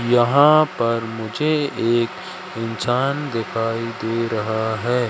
यहां पर मुझे एक इंसान दिखाई दे रहा है।